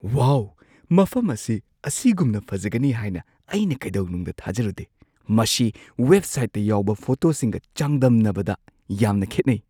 ꯋꯥꯎ! ꯃꯐꯝ ꯑꯁꯤ ꯑꯁꯤꯒꯨꯝꯅ ꯐꯖꯒꯅꯤ ꯍꯥꯢꯅ ꯑꯩꯅ ꯀꯩꯗꯧꯅꯨꯡꯗ ꯊꯥꯖꯔꯨꯗꯦ꯫ ꯃꯁꯤ ꯋꯦꯕꯁꯥꯏꯠꯇ ꯌꯥꯎꯕ ꯐꯣꯇꯣꯁꯤꯡꯒ ꯆꯥꯡꯗꯝꯅꯕꯗ ꯌꯥꯝꯅ ꯈꯦꯠꯅꯩ꯫